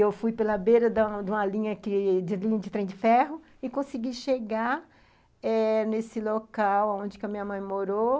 Eu fui pela beira da de uma linha que de uma linha de trem de ferro e consegui chegar eh nesse local onde a minha mãe morou.